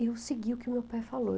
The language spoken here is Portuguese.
Eu segui o que o meu pai falou.